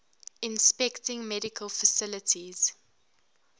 inspecting medical facilities